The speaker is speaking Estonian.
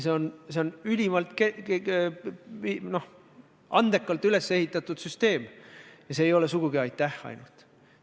See on ülimalt andekalt üles ehitatud süsteem ja see ei ole sugugi aitähi eest ainult.